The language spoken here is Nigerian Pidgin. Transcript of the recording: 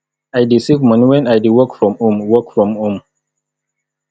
i dey save moni wen i dey work from home work from home